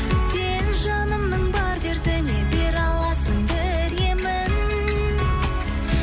сен жанымның бар дертіне бере аласың бір емін